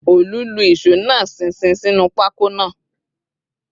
Òòlù lu ìṣó náà ṣinṣin sínú pákó náà